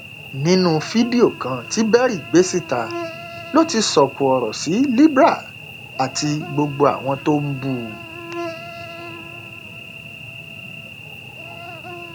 nínú fídíò kan tí berry gbé síta ló ti sọkò ọrọ sí libre àti gbogbo àwọn tó ń bú u